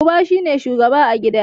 Uba shi ne shugaba a gida.